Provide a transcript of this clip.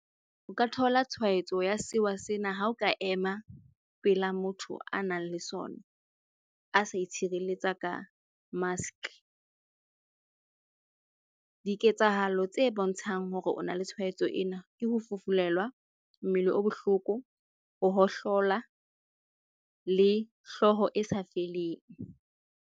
O ka thola tshwaetso ya sewa sena ha o ka ema pela motho a nang le sona, a sa itshireletsa ka mask. Diketsahalo tse bontshang hore o na le tshwaetso ena ke ho fufulelwa, mmele o bohloko, ho hohlola le hlooho e sa feleng.